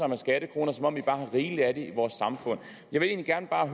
med skattekroner som om vi bare har rigeligt af dem i vores samfund jeg vil egentlig bare